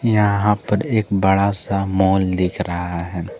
यहां पर एक बड़ा सा माल दिख रहा है।